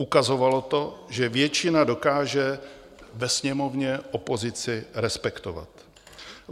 Ukazovalo to, že většina dokáže ve Sněmovně opozici respektovat.